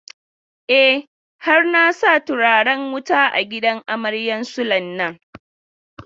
E, har na sa turaren wutan a gidan amaryan Sule nan.